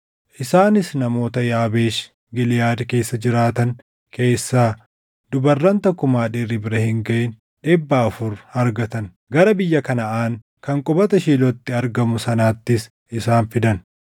Isaanis namoota Yaabeesh Giliʼaad keessa jiraatan keessaa dubarran takkumaa dhiirri bira hin gaʼin dhibba afur argatan; gara biyya Kanaʼaan kan qubata Shiilootti argamu sanaattis isaan fidan.